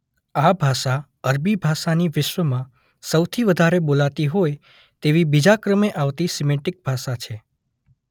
આ ભાષા અરબી ભાષાની વિશ્વમાં સૌથી વધારે બોલાતી હોય તેવી બીજા ક્રમે આવતી સિમેટિક ભાષા છે.